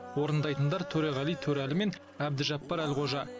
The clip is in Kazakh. орындайтындар төреғали төреәлі мен әбдіжаппар әлқожа